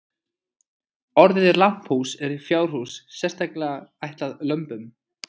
Orðið lambhús er fjárhús sérstaklega ætlað lömbum.